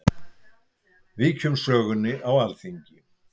Víkjum sögunni á Alþingi.